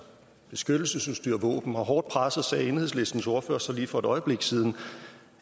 beskyttelsesudstyr og våben og hårdt presset sagde enhedslistens ordfører så lige for et øjeblik siden